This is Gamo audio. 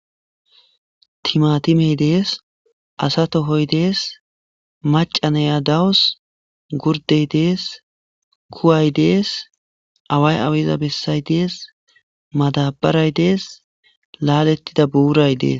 Timatimey dees asa tohoy dees macaneya dawus gurdey dees kuway dees away aweza bessay dees madabaray dees laalettida buuray dees.